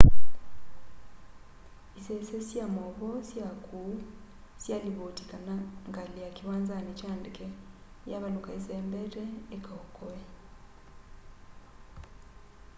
isese sya mauvoo sya kuu syalivoti kana ngali ya kiwanzani kya ndeke yavaluka isembete ikaokoe